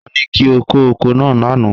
Won ni ki o ko oko naa lana.